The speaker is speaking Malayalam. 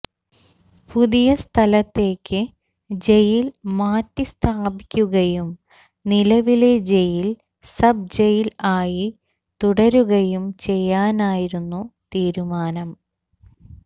പുതിയ സ്ഥലത്തേക്ക് ജയിൽ മാറ്റിസ്ഥാപിക്കുകയും നിലവിലെ ജയിൽ സബ് ജയിൽ ആയി തുടരുകയും ചെയ്യാനായിരുന്നു തീരുമാനം